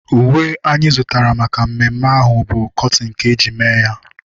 Uwe anyị zụtara maka mmemme ahu bu kọtin ka-eji mee ya